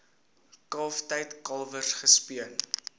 kalftyd kalwers gespeen